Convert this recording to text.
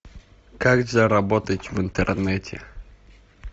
как заработать в интернете